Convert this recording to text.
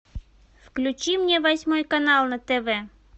включи мне восьмой канал на тв